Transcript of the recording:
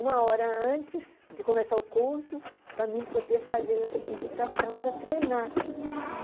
Uma hora antes de começar o curso, para mim poder fazer essa digitação para treinar.